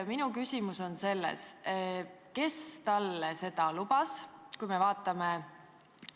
Minu küsimus on see: kes talle seda lubas?